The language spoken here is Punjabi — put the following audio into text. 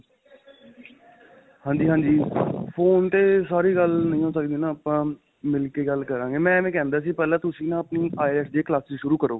ਹਾਂਜੀ, ਹਾਂਜੀ. phone ਤੇ ਸਾਰੀ ਗੱਲ ਨਹੀਂ ਹੋ ਸਕਦੀ ਨਾ. ਆਪਾਂ ਮਿਲ ਕੇ ਗੱਲ ਕਰਾਂਗੇ. ਮੈਂ ਐਵੇਂ ਕਹਿੰਦਾ ਸੀ, ਪਹਿਲਾਂ ਤੁਸੀਂ ਨਾ ਆਪਣੀ IELTS ਦੀ ਕਲਾਸਾ ਸ਼ੁਰੂ ਕਰੋ.